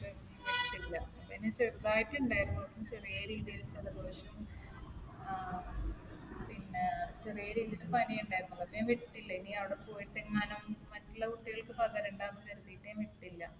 പനി ചെറുതായിട്ട് ഇണ്ടായിരുന്നു. ചെറിയ രീതിയിൽ ജലദോഷം. ആഹ് പിന്നെ ചെറിയ രീതിയിൽ പനിയും ഉണ്ടായിരുന്നു. അത് കാരണം ഞാൻ വിട്ടില്ല. ഇനി അവിടെ പോയിട്ട് എങ്ങാനും മറ്റുള്ള കുട്ടികൾക്ക് പകരണ്ടാന്ന് കരുതിയിട്ട് ഞാൻ വിട്ടില്ല.